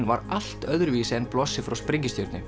var allt öðruvísi en blossi frá